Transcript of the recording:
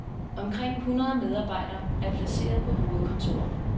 Omkring hundrede medarbejdere er placeret på hovedkontoret.